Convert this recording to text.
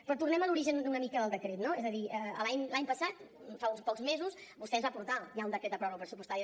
però tornem a l’origen una mica del decret no és a dir l’any passat fa uns pocs mesos vostè ens va portar ja un decret de pròrroga pressupostària